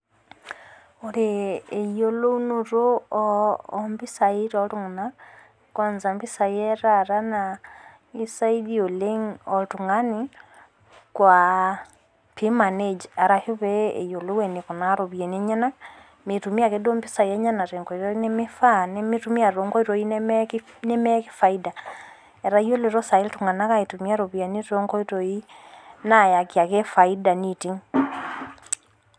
ore eyiolounoto oo impisai too iltung'anak kwanza impishai etaata naa kisaidia oleng oltung'ani pee emanage pee eyiolou eniko tenitumiya impisai enyanak mitumiya akeduo impisai too inkoitoi nemeyaki faida, etayiolito sai iltung'anak aitumiya iropiyiani too inkoitoi nayaki ake faida neiting'.